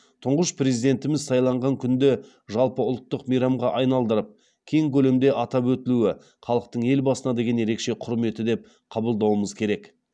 тұңғыш президентіміз сайланған күнді жалпыұлттық мейрамға айналдырып кең көлемде атап өтулуі халықтың елбасына деген ерекше құрметі деп қабылдауымыз керек